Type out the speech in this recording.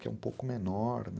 Que é um pouco menor, né?